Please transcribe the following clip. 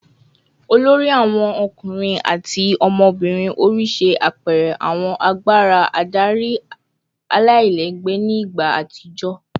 olori awon ọkunrin ati ọmọbirin ori ṣe apẹẹrẹ awọn agbara adari alailẹgbẹ ni igba atijọ